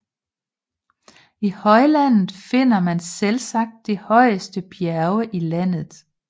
I højlandet finder man selvsagt de højeste bjerge i landet